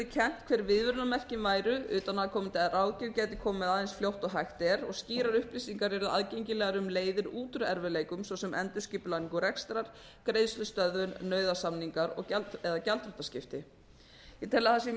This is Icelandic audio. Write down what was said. kennt hver viðvörunarmerkin væru utanaðkomandi ráðgjöf gæti komið að eins fljótt og hægt er og skýrar upplýsingar yrðu aðgengilegar um leiðir út úr erfiðleikum svo sem um endurskipulagningu rekstrar greiðslustöðvun nauðasamninga eða gjaldþrotaskipti ég tel að það sé